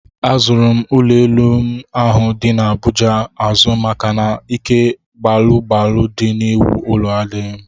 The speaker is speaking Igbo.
Azụrụ m ụlọelu m ahụ dị n'Abuja azụ maka na ike gbalụ gbalụ dị n'iwu ụlọ adịghị m